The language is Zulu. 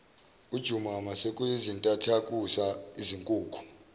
ujumaima sekuyizintathakusa izinkukhu